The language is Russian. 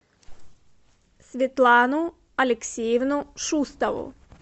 светлану алексеевну шустову